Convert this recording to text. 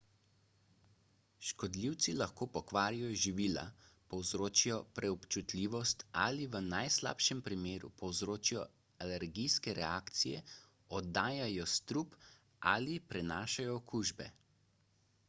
škodljivci lahko pokvarijo živila povzročijo preobčutljivost ali v najslabšem primeru povzročijo alergijske reakcije oddajajo strup ali prenašajo okužbe